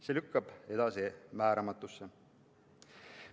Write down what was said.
See lükkub edasi määramatusse.